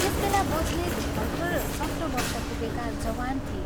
त्यस बेला बस्नेत भर्खर सत्र वर्ष पुगेका जवान थिए।